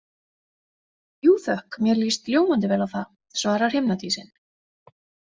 Jú, þökk, mér líst ljómandi vel á það, svarar himnadísin.